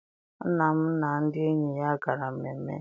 Nna m na ndị enyi ya gara mmemme.